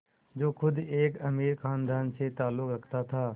जो ख़ुद एक अमीर ख़ानदान से ताल्लुक़ रखता था